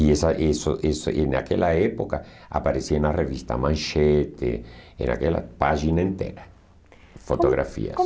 E essa em naquela época aparecia na revista Manchete, em naquela página inteira, fotografias. Como